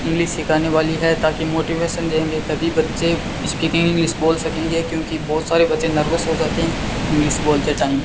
English सीखाने वाली है ताकि मोटिवेशन देंगे तभी बच्चे स्पीकिंग इंग्लिश बोल सकेंगे क्योंकि बहोत सारे बच्चे नर्वस हो जाते हैं इंग्लिश बोलने टाइम ।